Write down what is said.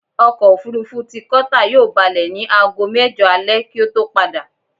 Ọkọ̀̀-òfurufú ti Qatar yóò balẹ̀ ní aago mẹ́jọ alẹ kí ó tó padà.